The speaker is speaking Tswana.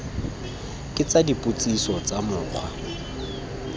ke tsa dipotsiso tsa mokgwa